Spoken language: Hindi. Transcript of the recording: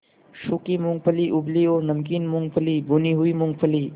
सूखी मूँगफली उबली और नमकीन मूँगफली भुनी हुई मूँगफली